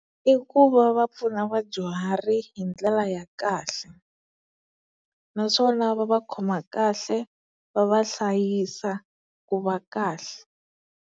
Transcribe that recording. I ku va va pfuna vadyuhari hi ndlela ya kahle naswona va va khoma kahle va va hlayisa ku va kahle.